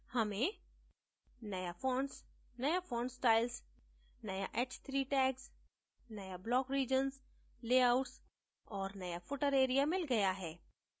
हमें नया fonts नया font styles नया h3 tags नया block regions layouts और नया footer area मिल गया है